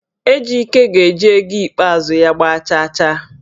Ejike ji ego ikpeazụ ya gba chaachaa